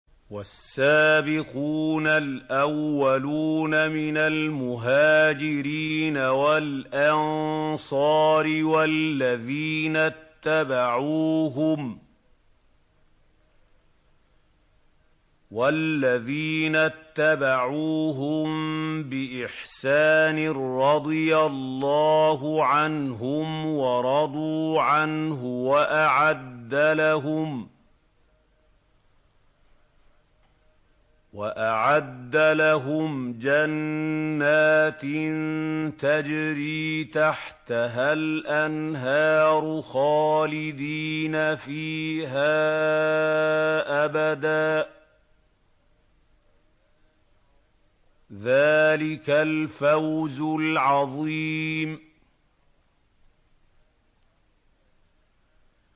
وَالسَّابِقُونَ الْأَوَّلُونَ مِنَ الْمُهَاجِرِينَ وَالْأَنصَارِ وَالَّذِينَ اتَّبَعُوهُم بِإِحْسَانٍ رَّضِيَ اللَّهُ عَنْهُمْ وَرَضُوا عَنْهُ وَأَعَدَّ لَهُمْ جَنَّاتٍ تَجْرِي تَحْتَهَا الْأَنْهَارُ خَالِدِينَ فِيهَا أَبَدًا ۚ ذَٰلِكَ الْفَوْزُ الْعَظِيمُ